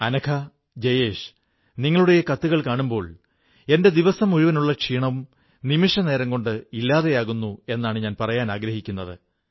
അനഘ ജയേശ് നിങ്ങളുടെ ഈ കത്തുകൾ കാണുമ്പോൾ എന്റെ ദിവസം മുഴുനുള്ള ക്ഷീണവും നിമിഷനേരം കൊണ്ട് ഇല്ലാതെയാകുന്നു എന്നാണ് ഞാൻ പറയാനാഗ്രഹിക്കുന്നത്